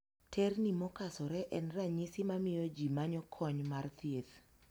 Terni mokasore en ranyisi mamiyo jii manyo kony mar thieth.